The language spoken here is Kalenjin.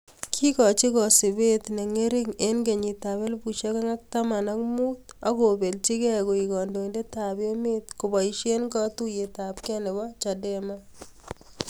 Kikochii kasupeet chengering eng kenyiit ap elfusiek onge ak taman ak muut akopelchii gei koek kandoindet ap emeet kopaishe katuiyet ap gei nepoo Chadema